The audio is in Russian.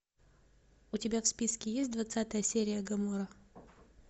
у тебя в списке есть двадцатая серия гоморра